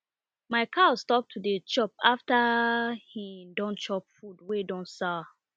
my cow stop to dey chop after he don chop food wey don sour